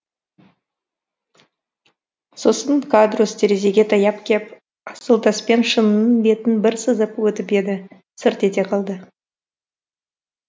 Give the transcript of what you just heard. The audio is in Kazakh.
сосын кадрусс терезеге таяп кеп асыл таспен шынының бетін бір сызып өтіп еді сырт ете қалды